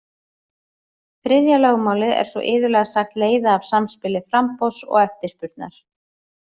Þriðja lögmálið er svo iðulega sagt leiða af samspili framboðs og eftirspurnar.